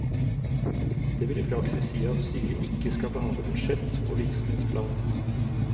Det vil i praksis si at styret ikke skal behandle budsjett og virksomhetsplan.